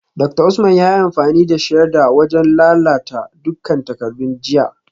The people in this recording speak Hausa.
Dr Usman yayi amfani da shredder wajen lalata dukkan takardun jiya